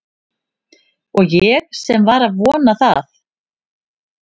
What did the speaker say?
Og ég sem var að vona það